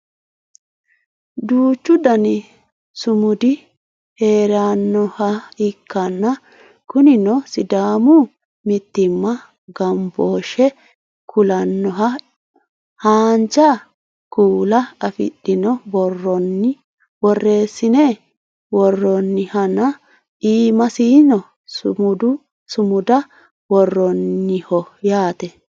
duuchu dani sumudi heerannoha ikkanna kunino sidaamu mittimma ganbooshshe kulannoha haanja kuula afidhino borronni borreessine worroonnihanna iimasino sumuda worroonniho yaate